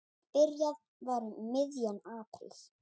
Byrjað var um miðjan apríl.